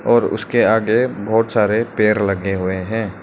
और उसके आगे बहुत सारे पेड़ लगे हुए हैं।